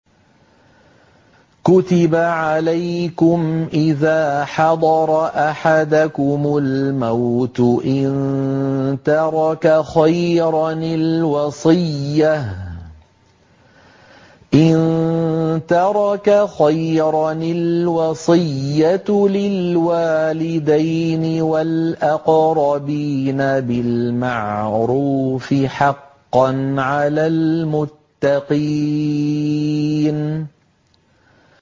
كُتِبَ عَلَيْكُمْ إِذَا حَضَرَ أَحَدَكُمُ الْمَوْتُ إِن تَرَكَ خَيْرًا الْوَصِيَّةُ لِلْوَالِدَيْنِ وَالْأَقْرَبِينَ بِالْمَعْرُوفِ ۖ حَقًّا عَلَى الْمُتَّقِينَ